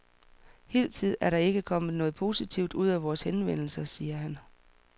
Hidtil er der ikke kommet noget positivt ud af vores henvendelser, siger han.